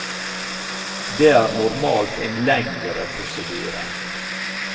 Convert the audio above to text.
Det er normalt en lengre prosedyre.